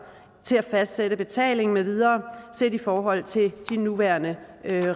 til at fastsætte betaling med videre set i forhold til de nuværende